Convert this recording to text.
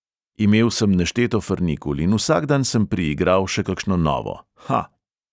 Imel sem nešteto frnikul in vsak dan sem priigral še kakšno novo, ha.